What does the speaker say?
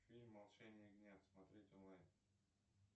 фильм молчание ягнят смотреть онлайн